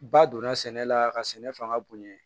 Ba donna sɛnɛ la ka sɛnɛ fanga bonya